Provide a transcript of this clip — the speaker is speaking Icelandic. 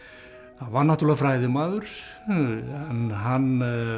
var náttúrulega fræðimaður en hann